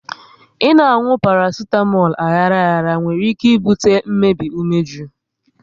ị na-anwụ parasitamolu aghara aghara nwere ike ibute mmbei umeju